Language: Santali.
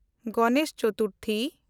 ᱜᱚᱱᱮᱥ ᱪᱚᱛᱩᱨᱛᱷᱤ